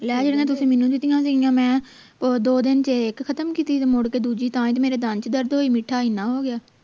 ਤੁਸੀਂ ਮੈਨੂੰ ਦਿੱਤੀਆਂ ਸਿਗੀਆਂ ਮੈਂ ਉਹ ਦੋ ਦਿਨ ਚ ਇਕ ਖਤਮ ਕੀਤੀ ਮੁੜ ਕੇ ਦੂਜੀ ਤਾਂ ਮੇਰੇ ਦੰਦ ਚ ਦਰਦ ਹੋਏ ਮਿੱਠਾ ਇੰਨਾ ਹੋ ਗਿਆ